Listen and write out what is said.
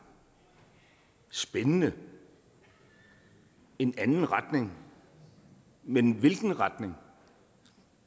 spændende en anden retning men hvilken retning